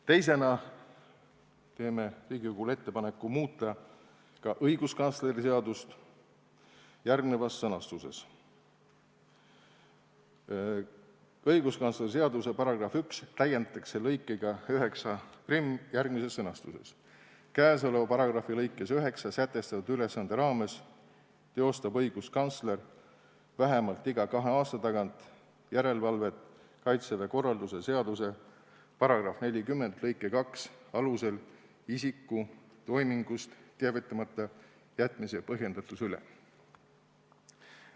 Teisena teeme Riigikogule ettepaneku muuta ka õiguskantsleri seadust järgnevas sõnastuses: "Õiguskantsleri seaduse §-i 1 täiendatakse lõikega 91 järgmises sõnastuses: " Käesoleva paragrahvi lõikes 9 sätestatud ülesande raames teostab õiguskantsler vähemalt iga kahe aasta tagant järelevalvet Kaitseväe korralduse seaduse § 40 lõike 2 alusel isiku toimingust teavitamata jätmise põhjendatuse üle.